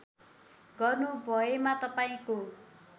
गर्नु भएमा तपाईँको